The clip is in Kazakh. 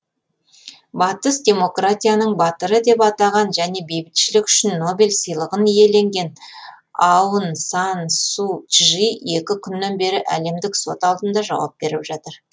батыс демократияның батыры деп атаған және бейбітшілік үшін нобель сыйлығын иеленген аун сан су чжи екі күннен бері әлемдік сот алдында жауап беріп жатыр